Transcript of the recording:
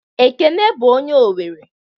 Ekene bụ onye Owere